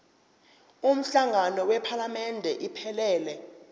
umhlangano wephalamende iphelele